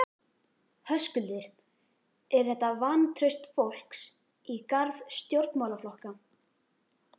Höskuldur: Er þetta vantraust fólks í garð stjórnmálaflokka?